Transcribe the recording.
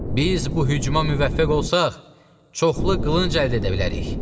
Biz bu hücuma müvəffəq olsaq, çoxlu qılınc əldə edə bilərik.